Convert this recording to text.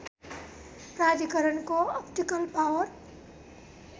प्राधिकरणको optical power